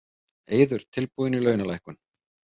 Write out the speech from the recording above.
Eiður tilbúinn í launalækkun